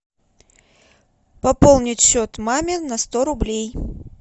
пополнить счет маме на сто рублей